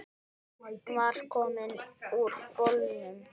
Hún var komin úr bolnum.